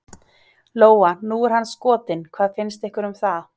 Lóa: Nú er hann skotinn, hvað fannst ykkur um það?